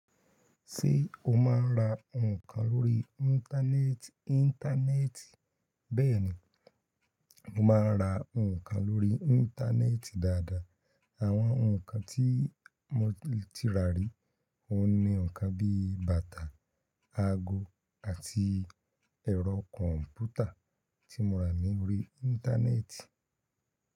Ṣé o máa ń ra nǹkan lórí íńtánéètì íńtánẹ́ẹ̀ti Bẹ́ẹ̀ni, mo máa ń ra nǹkan lórí íńtánéètì dáadáa. Àwọn nǹkan tí mo ti rà ri, ó ní nǹkan bí bàtà, ago àti ẹ̀rọ kọ̀m̀pútà tí mo rà ní bi íńtánéètì.